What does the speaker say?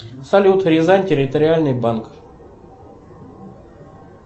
салют рязань территориальный банк